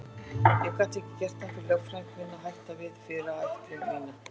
Ég gat ekki gert það fyrir lögfræðing minn að hætta við fyrirætlun mína.